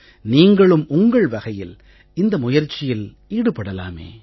நீங்களும் உங்கள் வகையில் இந்த முயற்சியில் ஈடுபடலாமே